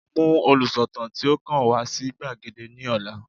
Mú olùsọ̀tàn tí ó kàn wá sí gbàgede ní ọ̀la